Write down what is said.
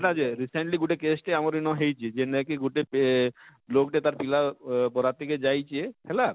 ହେଟା ଯେ recenly ଆମର ଇନ ଗୁଟେ cash ହେଇଛେ ଯେନ ଟା କି ଗୁଟେ ଆଁ ଲୋକ ଟେ ତାର ପିଲାର ବରାତି କେ ଯାଇଛେ ହେଲା